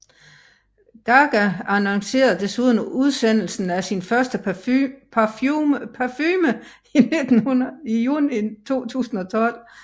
Gaga annoncerede desuden udsendelsen af sin første parfume i juni 2012